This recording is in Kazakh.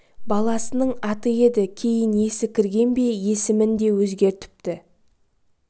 баласының аты еді кейін есі кірген бе есімін деп өзгертіпті